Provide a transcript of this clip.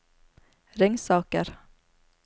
Ringsaker